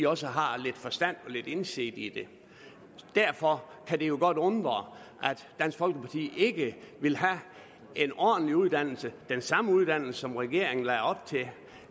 også har lidt forstand og lidt indsigt i det derfor kan det godt undre at dansk folkeparti ikke vil have en ordentlig uddannelse den samme uddannelse som regeringen lagde op til